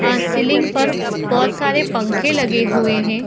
अ ceiling पर बहुत सारे पंखे लगे हुए है।